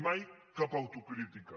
mai cap autocrítica